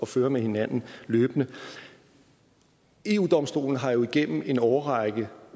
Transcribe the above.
føre med hinanden løbende eu domstolen har jo igennem en årrække